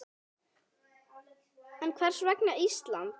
En hvers vegna Ísland?